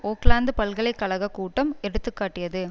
ஒக்லாந்து பல்கலை கழக கூட்டம் எடுத்து காட்டியது